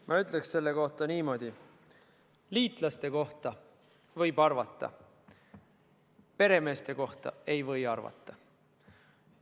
Ma ütleksin selle kohta niimoodi: liitlaste kohta võib arvata, peremeeste kohta ei või arvata.